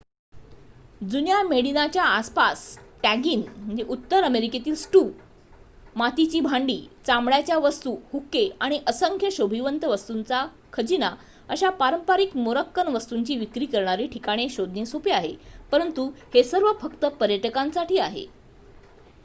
जुन्या मेडिनाच्या आसपास टॅगिन उत्तर अमेरिकेतील स्टू मातीची भांडी चामड्याच्या वस्तू हुक्के आणि असंख्य शोभिवंत वस्तुंचा खजिना अशा पारंपरिक मोरक्कन वस्तुंची विक्री करणारी ठिकाणे शोधणे सोपे आहे परंतु हे सर्व फक्त पर्यटकांसाठी आहे